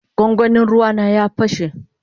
gwangwani ruea na ya pashe.